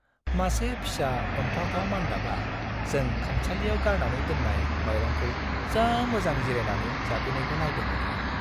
मासे फिसा अनथावथाव मान्दाबआ जों खामसालियाव गारनानै दोन्नाय माइरंखौ जा मोजां जिरायनानै जाफैनायखौ नायदोंमोन आं।